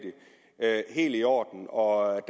i orden og